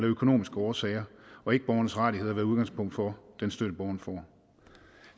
økonomiske årsager og ikke borgerens rettigheder der er udgangspunkt for den støtte borgeren får